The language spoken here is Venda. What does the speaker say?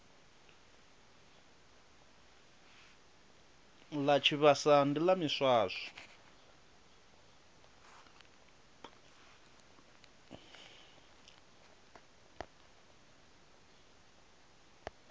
ḽa tshivhasa ndi ḽa miswaswo